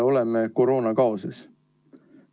Oleme koroonakaoses.